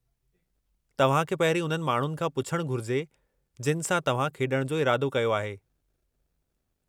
तव्हांखे पहिरीं उन्हनि माण्हुनि खां पुछणु घुरिजे जिनि सां तव्हां खेॾण जो इरादो कयो आहे।